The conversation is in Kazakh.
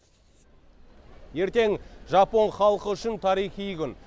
ертең жапон халқы үшін тарихи күн